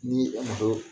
Ni e ma to